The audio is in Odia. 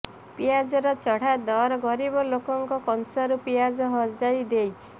ପିଆଜର ଚଢ଼ା ଦର ଗରିବ ଲୋକଙ୍କ କଂସାରୁ ପିଆଜ ହଜାଇ ଦେଇଛି